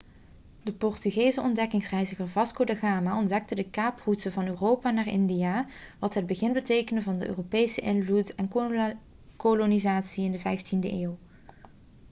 de portugese ontdekkingsreiziger vasco da gama ontdekte de kaaproute van europa naar india wat het begin betekende van de europese invloed en kolonisatie in de 15e eeuw